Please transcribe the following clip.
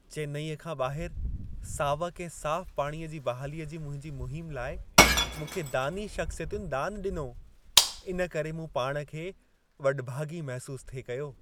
चेन्नईअ खां ॿाहिरि सावक ऐं साफ़ु पाणीअ जी बहालीअ जी मुंहिंजी मुहिम लाइ मूंखे दानी शख़्सियतुनि दानु ॾिनो। इन करे मूं पाण खे वॾभागी महसूसु थिए कयो।